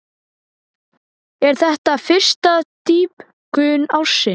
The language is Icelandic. Er þetta fyrsta dýpkun ársins.